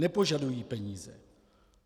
Nepožadují peníze.